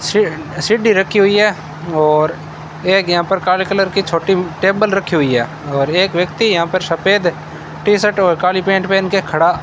सी सीढ़ी रखी हुई है और एक यहां पर काले कलर की छोटी टेबल रखी हुई है और एक व्यक्ति यहां पर सफेद टी शर्ट और काली पैंट पहन के खड़ा --